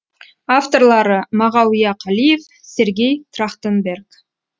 авторлары мағауия қалиев сергей трахтанберг